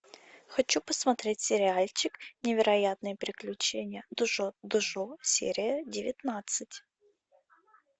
хочу посмотреть сериальчик невероятные приключения джоджо серия девятнадцать